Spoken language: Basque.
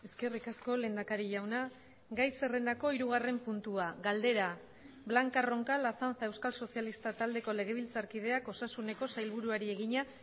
eskerrik asko lehendakari jauna gai zerrendako hirugarren puntua galdera blanca roncal azanza euskal sozialistak taldeko legebiltzarkideak osasuneko sailburuari egina